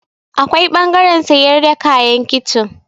Akwai ɓangaren sayar da kayan kicin.